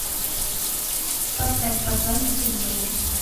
поставь посланник судьбы